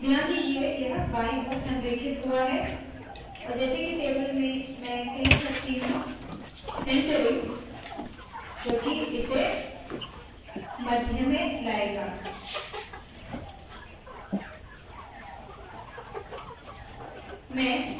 और ध्यान दीजिए के यह बाईं ओर संरेखित हुआ है और जैसे के टेबल में मैं कह सकती हूँ centering सेन्टरिंग जो की इसे मध्य में लाएगा